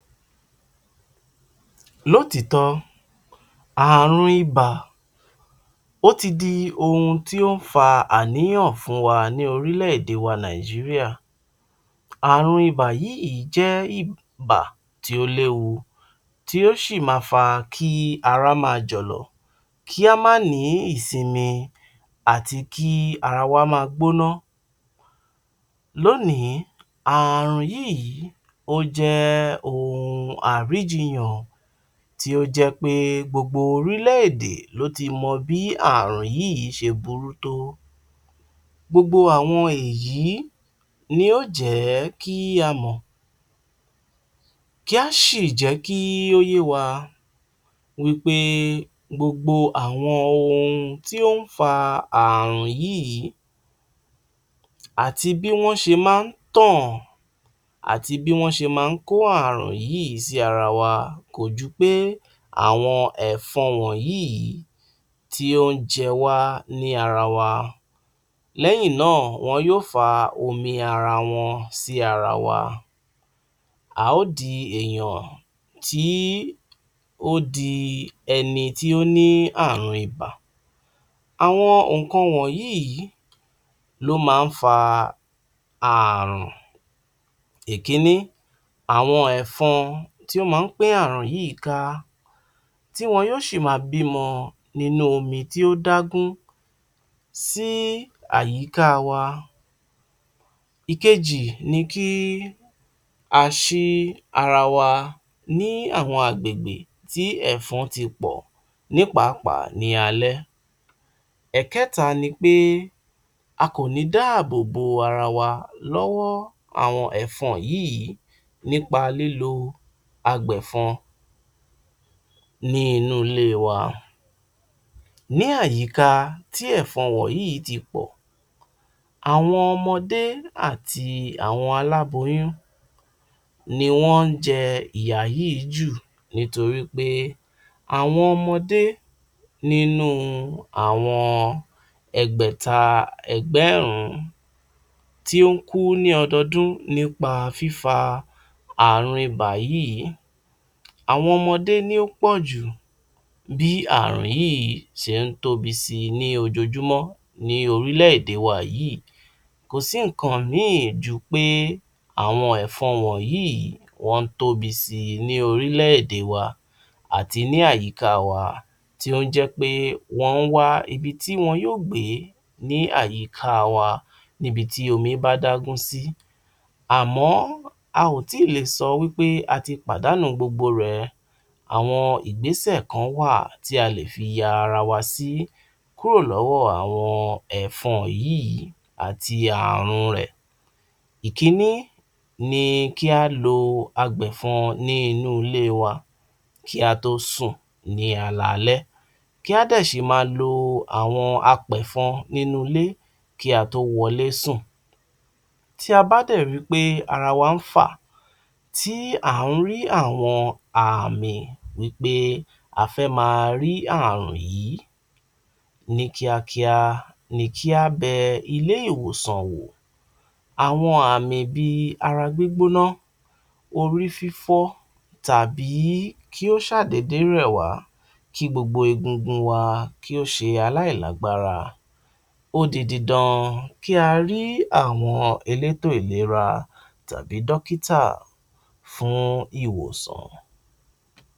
Lọ́tìtọ́ ààrùn ibà ó ti di ohun tí ó ń fa àníyàn fún wa ní orílẹ̀-èdè wa Nàìjíríà, àrùn ibà yìí jẹ́ ibà tí ó léwu, tí ó sì máa fa kí ara máa jọ̀lọ̀, kí a má ní ìsinmi àti kí ara wa máa gbóná. Lónìí, ààrùn yìí, ó jẹ́ ohun àríjiyàn, tí ó jẹ́ pé gbogbo orílẹ̀-èdè ló ti mọ bí àrùn yìí ṣe burú tó. Gbogbo àwọn èyí ni yóò jẹ́ kí a mọ̀, kí á sì jẹ́ kí ó yé wa wípé gbogbo àwọn ohun tí ó ń fa àrùn yìí àti bí wọ́n ṣe máa ń tàn, àti bí wọ́n ṣe máa ń kó àrùn yìí sí ara wa kó ju pé àwọn ẹ̀fọn wọ̀nyí tí ó ń jẹ wá ní ara wa, lẹ́yìn náà, wọn yóò fa omi ara wọn sí ara wa, a ó di èèyàn tí ó di ẹni tí ó ní àrùn ibà. Àwọn nǹkan wọ̀nyí ló máa ń fa àrùn. Ìkíní àwọn ẹ̀fọn tó máa pín ààrùn yìí ká, tí wọn yóò sì máa bímọ nínú omi tó dágún sí àyíká wa. Ìkejì ni kí a ṣí ara wa ní àwọn agbègbè tí ẹ̀fọn ti pọ̀, ní pàápàá ní alẹ́. Ẹ̀kẹ́ta ni pé a kò le dáàbò bo ara wa lọ́wọ́ àwọn ẹ̀fọn yìí nípa lílo agbẹ̀fọn ní inú ilé wa. Ní àyíká tí ẹ̀fọn wọ̀nyí ti pọ̀, àwọn ọmọdé àti àwọn aláboyún ni wọ́n ń jẹ ìyà yìí jù nítorí pé àwọn ọmọdé nínú àwọn ẹgbẹ̀ta ẹgbẹ̀rún tí ó ń kú ní ọdọọdún nípa fífa àrùn ibà yìí, àwọn ọmọdé ni ó pọ̀ jù, bí àrùn yìí ṣe ń tóbi sí i ní ojoojúmọ́ ní orílẹ̀-èdè wa yìí. Kò sí nǹkan míì ju pé àwọn ẹ̀fọn wọ̀nyí wọn ń tóbi si ní orílẹ̀-èdè wa, àti ní àyíká wa, tí ó ń jẹ́ pé wọ́n wá ibi tí wọn yóò gbé ní àyíká wa, níbi tí omi bá dágún sí. Àmọ́ a ò tí ì lè sọ wípé a ti pàdánù gbogbo rẹ̀. Àwọn ìgbésẹ̀ kan wà tí a lè fi ya ara wa sí kúrò lọ́wọ́ àwọn ẹ̀fọn wọ̀nyí àti àrùn rẹ̀. Ìkíní ni kí a lo agbẹ̀fọn ní inú ilé wa, kí a tó sùn ní alaalẹ́, kí a dẹ̀ sì ḿaa lo àwọn apẹ̀fọn nínú ilé kí a tó wọlé sùn. Tí a bá dẹ̀ rí i pé ara wa ń fà, tí a rí àwọn ààmì wípé a fẹ́ máa rí àrùn yìí, ní kíákíá ni kí a bẹ ilé-ìwòsàn wò. Àwọn àmi bí i ara gbígbóná, orí fífọ́, tàbí kí ó ṣáà dédé rẹ̀ wá, kí gbogbo egungun wa kí ó ṣe aláìlágbárá, ó di didan kí a rí àwọn elétò ìlera tàbí dókítà fún ìwòsàn.